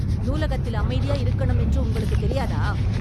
நூலகத்தில் அமைதியா இருக்கனும் என்று உங்களுக்கு தெரியாத